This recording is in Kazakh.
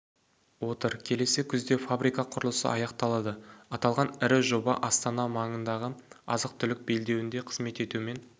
отыр келесі күзде фабрика құрылысы аяқталады аталған ірі жоба астана маңындағы азық-түлік белдеуіне қызмет етумен